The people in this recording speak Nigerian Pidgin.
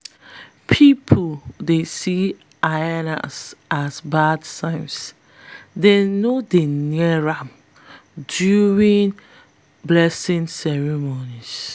people dey see hyenas as bad signs dem no dey near am during farm blessing ceremonies.